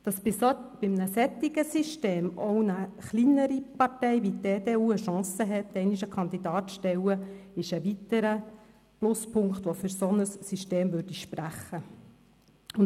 Das bei einem solchen System auch eine kleinere Partei wie die EDU die Chance hat, einmal einen Kandidaten zu stellen, ist ein weiterer Pluspunkt, der für ein solches System sprechen würde.